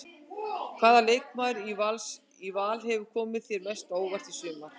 Hvaða leikmaður í Val hefur komið þér mest á óvart í sumar?